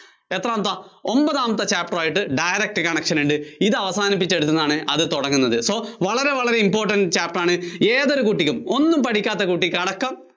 എത്രാമത്തെ ഒമ്പതാമത്തെ Chapter ആയിട്ട് direct connection ഉണ്ട്. ഇത് അവസാനിപ്പിച്ചെടുത്തുന്നാണ് അത് തുടങ്ങുന്നത് so വളരെ വളരെ important chapter ആണ് ഏതൊരു കുട്ടിക്കും ഒന്നും പഠിക്കാത്ത കുട്ടിക്ക് അടക്കം